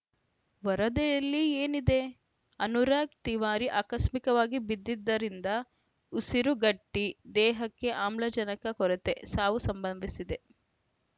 ವರದಿಯಲ್ಲಿ ಏನಿದೆ ಅನುರಾಗ್‌ ತಿವಾರಿ ಆಕಸ್ಮಿಕವಾಗಿ ಬಿದ್ದಿದ್ದರಿಂದ ಉಸಿರುಗಟ್ಟಿದೇಹಕ್ಕೆ ಆಮ್ಲಜನಕ ಕೊರತೆ ಸಾವು ಸಂಭವಿಸಿದೆ